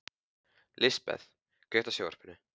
Lisbeth, kveiktu á sjónvarpinu.